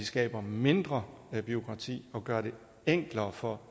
skaber mindre bureaukrati og gør det enklere for